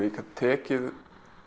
ég gat tekið